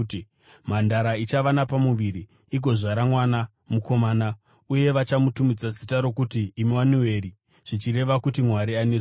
“Mhandara ichava napamuviri, igozvara mwana mukomana, uye vachamutumidza zita rokuti Emanueri, zvichireva kuti, ‘Mwari anesu.’ ”